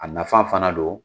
A nafa fana don.